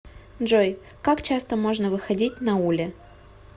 джой как часто можно выходить на уле